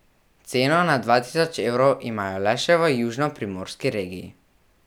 Ceno nad dva tisoč evrov imajo le še v južnoprimorski regiji.